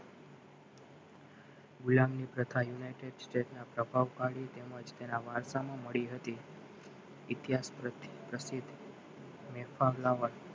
ગુલામી પ્રથા United States પ્રભાવશાળી તેમજ તેના વાર્તામાં મળી હતી